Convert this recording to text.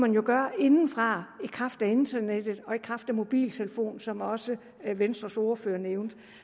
jo gøre indefra i kraft af internettet og i kraft af mobiltelefon som også venstres ordfører nævnte